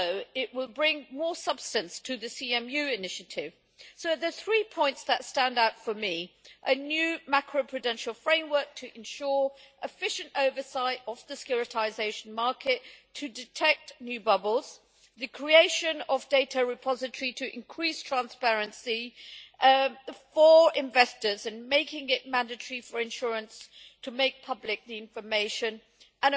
It will also bring more substance to the CMU initiative. So there are three points that stand out for me a new macroprudential framework to ensure efficient oversight of the securitisation market to detect new bubbles the creation of a data repository to increase transparency for investors and making it mandatory for insurance to make the information public